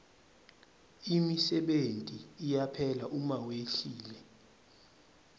imisebenti iyaphela uma wehlile